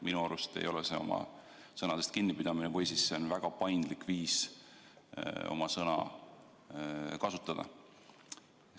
Minu arvates ei ole see oma sõnadest kinnipidamine või siis on see väga paindlik viis sõnu kasutada.